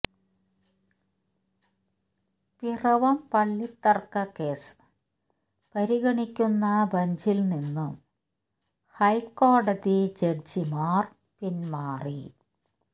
പിറവം പള്ളിത്തർക്ക കേസ് പരിഗണിക്കുന്ന ബഞ്ചിൽ നിന്നും ഹൈക്കോടതി ജഡ്ജിമാർ പിന്മാറി